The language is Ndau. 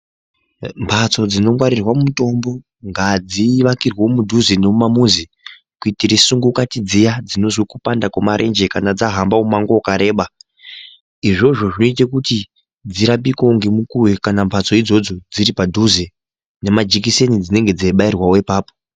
Mbatso nganongwarirwa mutombo ngadzivakirwewo mudhuze nemumamuzi kuitire sungukati dziya dzinozwe kupanda kwemarenje kana dzahamba mumango wakareba. Izvozvo zvinoite kuti dzirapikewo ngemukuwo kana mbatso idzodzo dziri padhuze. Nemajekiseni dzinenge dzeibairwawo ipapo.